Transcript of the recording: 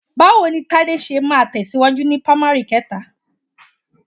Báwo ni Tádé ṣe máa tẹ̀síwájú ni pamari kẹta?